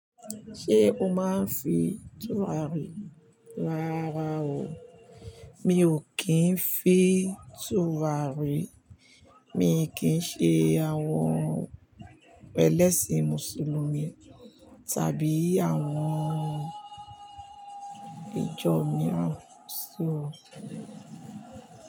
Ṣé o máa ń fi tùràrí? Rára o. Mi ò kí ń fi tùràrí. Mii kì n ṣe àwọn ẹlẹ́sìn Mùsùlùmí tàbí àwọn ìjọ mìíràn só.